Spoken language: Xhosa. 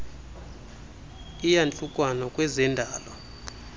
eyantlukwano kweze ndalo